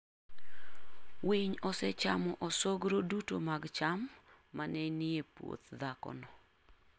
Winy osechamo osogro duto mag cham ma ne nie puoth dhakono.